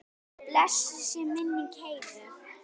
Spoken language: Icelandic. Blessuð sé minning Heiðu.